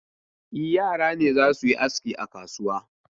E, yara ne za su yi aski a kasuwa.